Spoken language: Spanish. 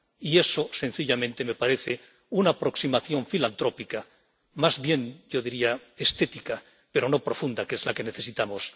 Y eso, sencillamente, me parece una aproximación filantrópica, más bien yo diría estética, pero no profunda, que es la que necesitamos.